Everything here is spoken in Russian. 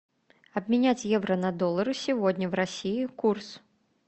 обменять евро на доллары сегодня в россии курс